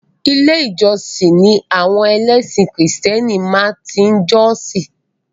Ilé ìjósìn ni àwọn ẹlẹ́sìn krìstẹ́nì máa tí ń jọ́sìn.